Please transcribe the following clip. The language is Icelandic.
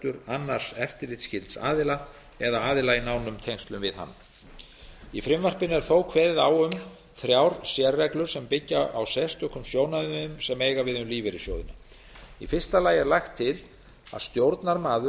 annars eftirlitsskylds aðila eða aðila í nánum tengslum við hann í frumvarpinu er þó kveðið á um þrjár sérreglur sem byggja á sérstökum sjónarmiðum sem eiga við um lífeyrissjóðina í fyrsta lagi er lagt til að stjórnarmaður